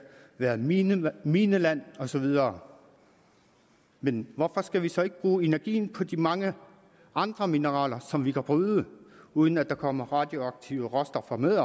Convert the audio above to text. være mineland mineland og så videre men hvorfor skal vi så ikke bruge energien på de mange andre mineraler som vi kan bryde uden at der kommer radioaktive råstoffer med